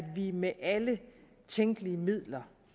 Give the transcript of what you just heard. vi med alle tænkelige midler